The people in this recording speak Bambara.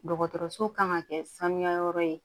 Dɔgɔtɔrɔso kan ka kɛ sanuya yɔrɔ ye